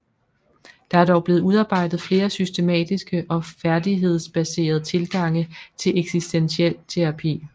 Der er dog blevet udarbejdet flere systematiske og færdighedsbaserede tilgange til eksistentiel terapi